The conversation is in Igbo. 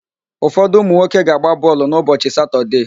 Ụfodụ ụmụnwoke ga-agba bọọlụ n'ụbọchị Satọdee.